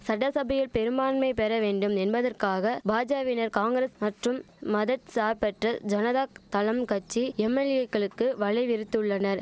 சட்டசபையில் பெரும்பான்மை பெற வேண்டும் என்பதற்காக பாஜாவினர் காங்கரஸ்க் மற்றும் மத சார்பற்ற ஜனதா தளம் கட்சி எம்எல்ஏக்களுக்கு வலை விரித்துள்ளனர்